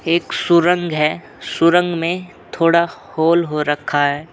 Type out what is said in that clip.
एक शुरंग है शुरंग में थोड़ा होल हो रक्खा है।